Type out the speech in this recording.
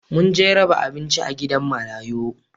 Mun je raba abinci a gidan marayu